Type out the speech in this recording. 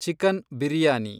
chicken biryani